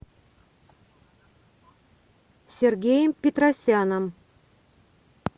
сергеем петросяном